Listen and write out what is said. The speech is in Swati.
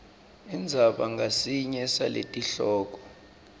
indzaba ngasinye saletihloko